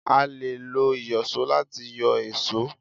a lè lo Ìyọ̀ṣó lati yọ èṣó.